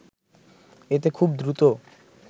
এতে খুব দ্রুত